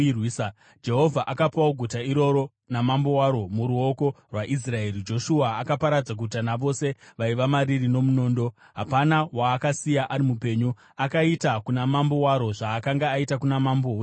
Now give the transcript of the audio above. Jehovha akapawo guta iroro namambo waro muruoko rwaIsraeri. Joshua akaparadza guta navose vaiva mariri nomunondo. Hapana waakasiya ari mupenyu. Akaita kuna mambo waro zvaakanga aita kuna mambo weJeriko.